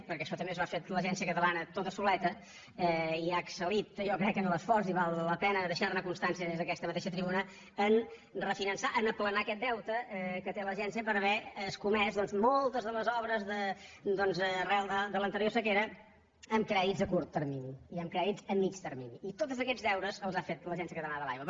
perquè això també s’ho ha fet l’agència catalana tota soleta i ha excel·lit jo ho crec en l’esforç i val la pena deixar ne constància des d’aquesta mateixa tribuna en refinançar en aplanar aquest deute que té l’agència per haver escomès doncs moltes de les obres arran de l’anterior sequera amb crèdits a curt termini i amb crèdits a mitjà termini i tots aquests deures els ha fet l’agència catalana de l’aigua